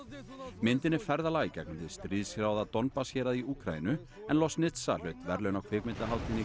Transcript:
myndin er ferðalag í gegnum hið stríðshrjáða Donbass hérað í Úkraínu en hlaut verðlaun á kvikmyndahátíðinni